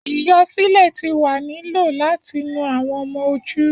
Iyọ silė ti wa ni lo lati nu awọn ọmọ oju